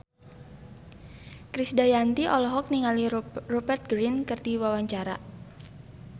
Krisdayanti olohok ningali Rupert Grin keur diwawancara